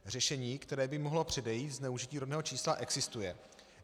Řešení, které by mohlo předejít zneužití rodného čísla, existuje.